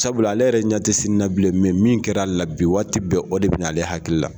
Sabula ale yɛrɛ ɲɛ tɛ sini na bilen mɛ min kɛra ale la bi waati bɛɛ o de bɛ na ale hakili la.